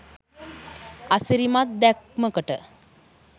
අසිරිමත් දැක්මකට